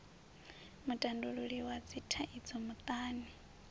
mutandululi wa dzithaidzo muṱani n